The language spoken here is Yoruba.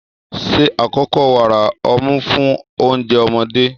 Ṣe àkọ́kọ́ wàrà ọmú fún oúnjẹ ọmọdé.